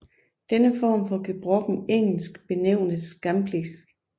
Denne form for gebrokkent engelsk benævnes gamblish